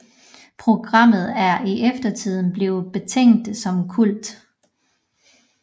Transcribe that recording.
Programmet er i eftertiden blevet betegnet som kult